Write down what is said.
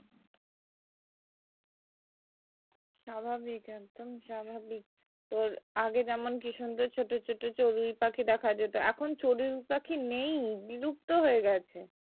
স্বাভাবিক একদম স্বাভাবিক তোর আগে যেমন কি সুন্দর ছোট ছোট চড়ুই পাখি দেখা যেত এখন চড়ুই পাখি নেই বিলুপ্ত হয়ে গেছে